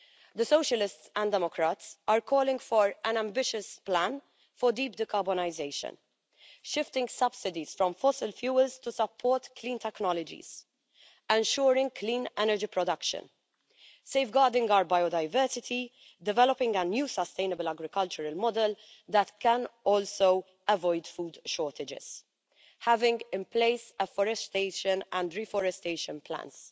The Socialists and Democrats are calling for an ambitious plan for deep de carbonisation, shifting subsidies from fossil fuels to support clean technologies, ensuring clean energy production, safeguarding our biodiversity, developing a new sustainable agricultural model that can also avoid food shortages, having in place afforestation and reforestation plans,